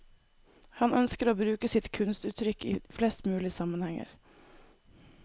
Han ønsker å bruke sitt kunstuttrykk i flest mulig sammenhenger.